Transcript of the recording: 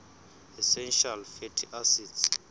essential fatty acids